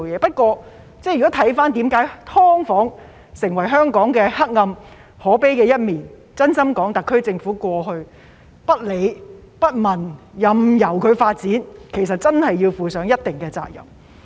不過，看到"劏房"成為香港的黑暗可悲一面，真心說，特區政府過去不理不問，任由"劏房"發展，其實真的要負上一定的責任。